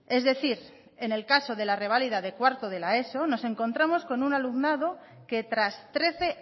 es decir en el caso de la reválida de cuarto de la eso nos encontramos con un alumnado que tras trece